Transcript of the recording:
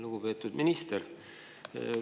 Lugupeetud minister!